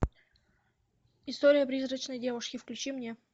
история призрачной девушки включи мне